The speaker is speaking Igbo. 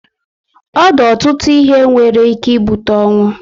Ọ di ọtụtụ ihe nwere ike ibute ọnwụ